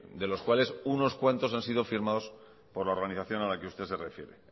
de los cuales unos cuantos han sido firmados por la organización a la que usted se refiere ernai